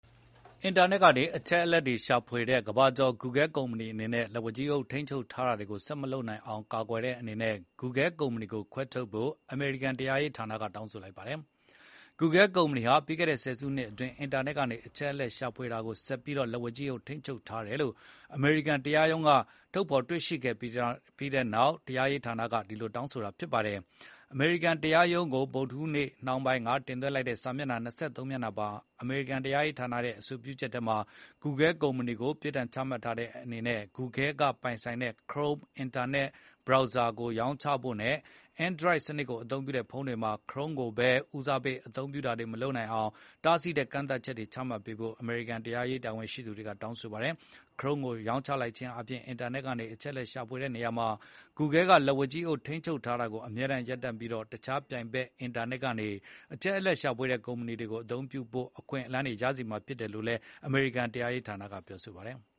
အင်တာနက်ကနေ အချက်အလက်ရှာဖွေတဲ့နေရာမှာ ကမ္ဘာကျော် Google ကုမ္ပဏီအနေနဲ့ လက်ဝါးကြီး အုပ်ထိန်းချုပ်ထားတာတွေ ဆက်မလုပ်နိုင်အောင် ကာကွယ်ဖို့ Google ကုမ္ပဏီကိုခွဲထုတ်ဖို့ အမေရိကန်တရားရေးဌာနက တောင်းဆိုလိုက်ပါတယ်။ Google ကုမ္ပဏီဟာ ပြီးခဲ့တဲ့ ဆယ်စုနှစ်အတွင်း အင်တာနက်က အချက်အလက်ရှာဖွေတာကို ဆက်ပြီး လက်ဝါးကြီးအုပ်ထိန်းချုပ် ထားတယ်လို့ အမေရိကန် တရားရုံးကဖော်ထုတ်တွေ့ရှိပြီးတဲ့နောက် အမေရိကန်တရားရေးဌာနက အဲဒီလိုတောင်းဆိုလိုက်တာပါ။ အမေရိကန်တရားရုံးကို ဗုဒ္ဓဟူးနေ့ နှောင်းပိုင်းကတင်သွင်းလိုက်တဲ့ စာမျက်နှာ ၂၃ မျက်နှာပါအမေရိကန်တရားရေးဌာနရဲ့ အဆိုပြုချက် ထဲမှာတော့ Google ကုမ္ပဏီကို ပြစ်ဒဏ်ချမှတ်တဲ့အနေနဲ့ Google က ပိုင်ဆိုင်တဲ့ Chrome အင်တာနက် Browser ကို ရောင်းချဖို့ နဲ့ Android စနစ်ကို အသုံးပြုတဲ့ ဖုန်းတွေမှာ Chrome ကိုပဲ ဦးစားပေး အသုံးပြုတာတွေမလုပ်နိုင်အောင် တားဆီးတဲ့ ကန့်သတ်ချက်တွေချမှတ်ပေးဖို့ အမေရိကန်တရားရေး တာဝန်ရှိသူတွေက တောင်းဆိုထားပါတယ်။ Chrome ကို ရောင်းချလိုက်ခြင်းအားဖြင့် အင်တာနက်ကနေ အချက်အလက်ရှာဖွေတဲ့နေရာမှာ Google ကလက်ဝါးကြီးအုပ်ထိန်းချုပ်ထားတာကို အမြဲတမ်းရပ်တန့်ပြီးတော့ တခြား ပြိုင်ဘက် အင်တာနက်ကနေ အချက်အလက်ရှာဖွေတဲ့ ကုမ္ပဏီတွေကို အသုံးပြုဖို့ အခွင့်အလမ်းတွေ ရစေမှာဖြစ်တယ်လို့ အမေရိကန်တရားရေးဌာနဘက်က အစိုးရရှေ့နေတွေက ပြောထားပါတယ်။